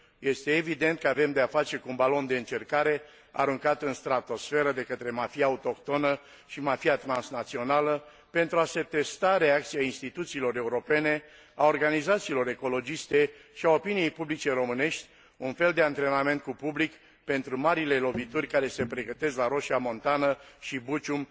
Este evident că avem de a face cu un balon de încercare aruncat în stratosferă de către mafia autohtonă și mafia transnațională pentru a se testa reacția instituțiilor europene, a organizațiilor ecologiste și a opiniei publice românești un fel de antrenament cu public pentru marile lovituri care se pregătesc la Roșia Montană și Bucium